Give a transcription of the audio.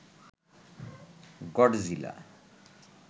Godzilla